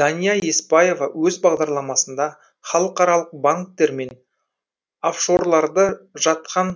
дания еспаева өз бағдарламасында халықаралық банктер мен офшорларда жатқан